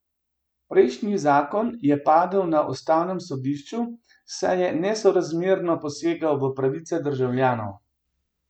Prejšnji zakon je padel na ustavnem sodišču, saj je nesorazmerno posegel v pravice državljanov.